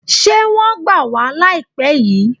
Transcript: Ṣé wọ́n gbà wá láìpé yìí?